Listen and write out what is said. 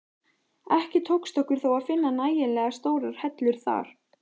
Ekki tókst okkur þó að finna nægilega stórar hellur þar.